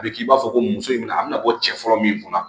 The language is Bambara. A bɛ k'i b'a fɔ ko muso in bɛna a bɛna bɔ cɛ fɔlɔ min kunna